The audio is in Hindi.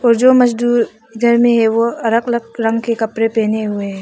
जो मजदूर घर में है वह अलग अलग रंग के कपड़े पहने हुए हैं।